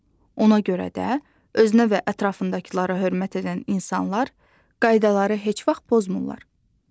Ona görə də özünə və ətrafındakılara hörmət edən insanlar qaydaları heç vaxt pozmurlar.